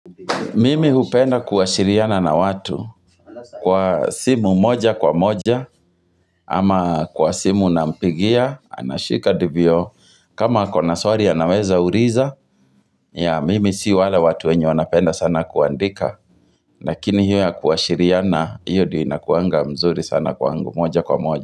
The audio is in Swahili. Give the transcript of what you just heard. Mimi hupenda kuwa shiriana na watu kwa simu moja kwa moja ama kwa simu na mpigia anashika ndivyo kama ako na swali anaweza uriza ya mimi si wale watu wenye wanapenda sana kuandika lakini hiyo ya kuwa shiriana hiyo ndio inakuanga mzuri sana kwangu moja kwa moja.